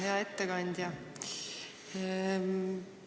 Hea ettekandja!